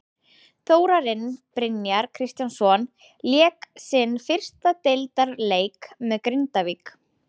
Þórarinn Brynjar Kristjánsson lék sinn fyrsta deildarleik með Grindavík.